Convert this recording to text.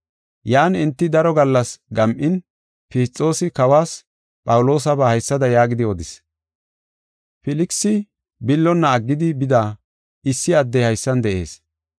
Yan enti daro gallas gam7in, Fisxoosi Kawas Phawuloosaba haysada yaagidi odis; “Filkisi billonna aggidi bida issi addey haysan de7ees.